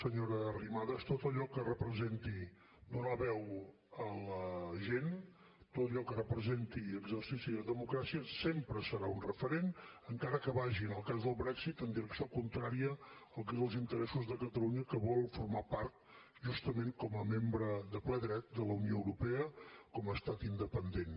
senyora arrimadas tot allò que representi donar veu a la gent tot allò que representi exercici de democràcia sempre serà un referent encara que vagi en el cas del brexit en direcció contrària al que són els interessos de catalunya que vol formar part justament com a membre de ple dret de la unió europea com a estat independent